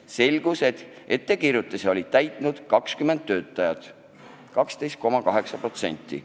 Selgus, et ettekirjutuse oli täitnud 20 töötajat ehk 12,8%.